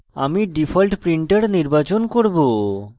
আমি default printer নির্বাচন করব